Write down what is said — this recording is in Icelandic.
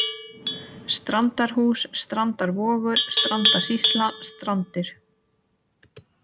Strandarhús, Strandarvogur, Strandasýsla, Strandir